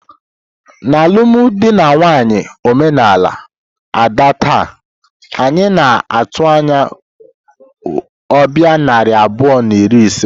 N'alụmdi na nwunye omenala Ada taa, anyị na-atụ anya ọbịa narị abụọ na iri ise.